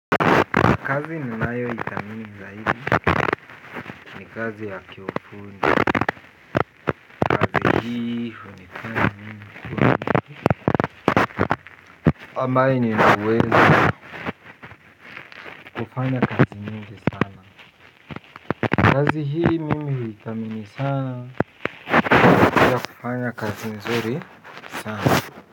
Kazi ninayo ithamini zaidi ni kazi ya kiufundi kazi hii hunifanya mimi kuwa mtu kambai ambaye nina uwezo kufanya kazi mingi sana kazi hii mimi huithamini sana katika kufanya kazi mzuri sana.